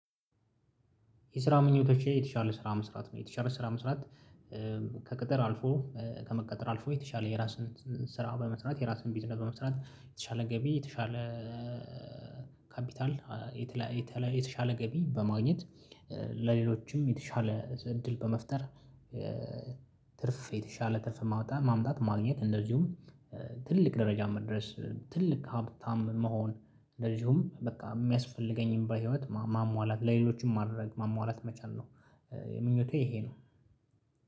የስራ ምኞቶች የተሻለ ስራ መስራት ነው። የተሻለ ስራ መስራት ከቅጥር አልፎ ከመቀጠር አልፎ የተሻለ የራስን ስራ በመስራት የራስን ቢዝነስ በመስራት የተሻለ ገቢ የተሻለ የተሻለ ገቢ በማግኘት ለሌሎችም የተሻለ እድል በመፍጠር ትርፍ የተሻለ ትርፍ ማምጣት ማግኘት እንደዚሁም ትልቅ ደረጃ መድረስ ትልቅ ሀብታም መሆን እንደዚሁም በቃ የሚያስፈልገኝን ህይወት ማሟላት ለሌሎችም ማድረግ ማሟላት መቻል ነው። ምኞቴ ይሄ ነው።